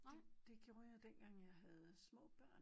Det det gjorde jeg dengang jeg havde små børn